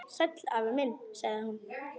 Sæll afi minn sagði hún.